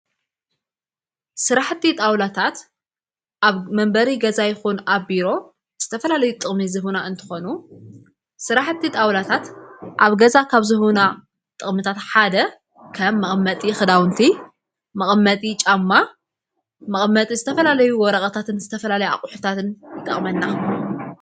ሥራሕቲ ጣውላታት ኣብ መንበሪ ገዛ ይኹኑ ኣብ ቢሮ ዝተፈላለዩ ጥቕሚ ዝሁና እንተኾኑ ሥራሕቲ ጣውላታት ኣብ ገዛ ካብ ዝሁና ጥቕምታት ሓደ ከም መቐመጢ ኽዳውንቲ መቐመጢ ጫማ መቐመጢ ዝተፈላለዩ ወረቐታትን ዝተፈላለይ ኣቝሕታትን ይጠቕመና።